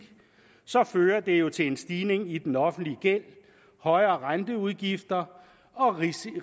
fører det jo til en stigning i den offentlige gæld højere renteudgifter og risiko